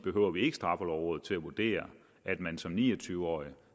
ikke behøver straffelovrådet til at vurdere at man som ni og tyve årige